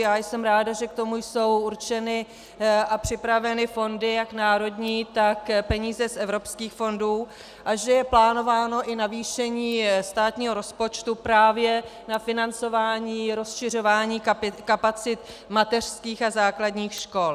Já jsem ráda, že k tomu jsou určeny a připraveny fondy jak národní, tak peníze z evropských fondů a že je plánováno i navýšení státního rozpočtu právě na financování rozšiřování kapacit mateřských a základních škol.